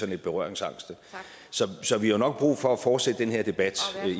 lidt berøringsangste så vi har nok brug for at fortsætte den her debat